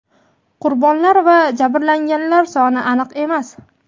Qurbonlar va jabrlanganlar soni aniq emas.